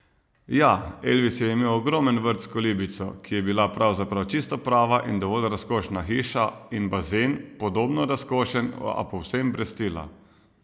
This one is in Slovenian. Ja, Elvis je imel ogromen vrt s kolibico, ki je bila pravzaprav čisto prava in dovolj razkošna hiša, in bazen, podobno razkošen, a povsem brez stila.